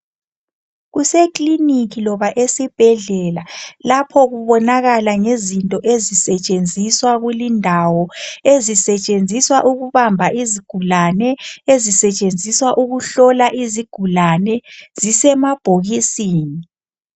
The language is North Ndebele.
Kuse clinic loba esibhedlela lapho kubonakala ngezinto ezisetshenziswa kulindawo ezisetshenziswa ukubamba izigulane ezisetshenziswa ukuhlola izigulane zisemabhokisini .